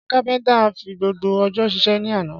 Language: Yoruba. Ṣé Kápéntà fi gbogbo ọjọ́ sísé ní àná?